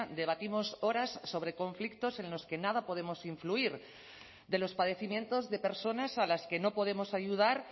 debatimos horas sobre conflictos en los que nada podemos influir de los padecimientos de personas a las que no podemos ayudar